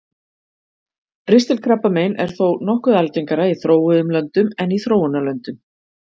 ristilkrabbamein er þó nokkuð algengara í þróuðum löndum en í þróunarlöndum